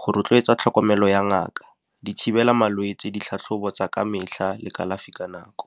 go rotloetsa tlhokomelo ya ngaka, di thibela malwetse, ditlhatlhobo tsa ka metlha le kalafi ka nako.